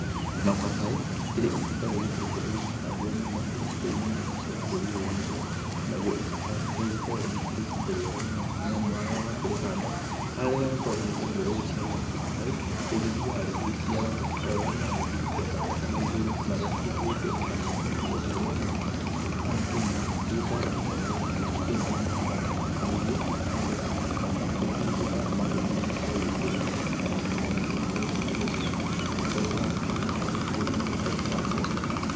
Mababaĩ, akĩrĩ itunda rĩgĩkoretwo rĩgĩkĩhandwo mũno icigo-ĩnĩ nyingĩ cia bũrũri ũyũ witũ. naguo ibabaĩ rĩgĩkoragwo rĩ itunda rĩega mũno nĩamu harĩa wakĩrĩhanda harĩa rĩgagĩkorwo rĩkĩambia gũciarĩra mababaĩ rĩgĩthiaga rĩgĩciaraga o ũrĩa rĩragĩthiĩ rĩkĩambataga na igũrũ na gũtirĩ hĩndĩ kana ihinda-inĩ rĩa mwaka kana kĩmera gwĩkoraga ibabaĩ atĩ rĩtikĩrĩ na matunda. Nĩguo ibabaĩ ũngĩgĩkĩhanda gũtirĩ hĩndĩ ũkaga matunda magũkoro ũgĩkĩrĩa kana matunda magũkoro ũgĩkĩendia angĩkoro ũrakĩrĩhanda rĩkĩrĩ rĩa ũhoro wa mbiacara.